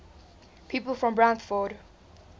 people from brantford